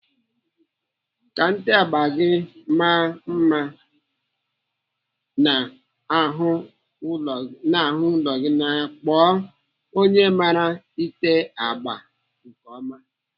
Ka nte agba gị maa mma n'ahụ ụlọ gị, kpọọ onye mara ete agba nke ọma.